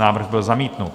Návrh byl zamítnut.